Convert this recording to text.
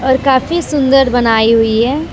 और काफी सुंदर बनाई हुई है।